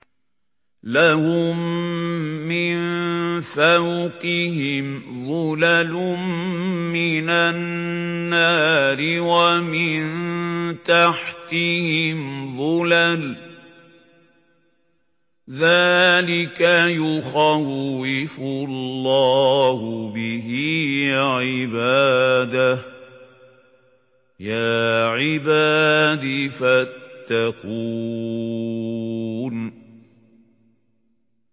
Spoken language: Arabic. لَهُم مِّن فَوْقِهِمْ ظُلَلٌ مِّنَ النَّارِ وَمِن تَحْتِهِمْ ظُلَلٌ ۚ ذَٰلِكَ يُخَوِّفُ اللَّهُ بِهِ عِبَادَهُ ۚ يَا عِبَادِ فَاتَّقُونِ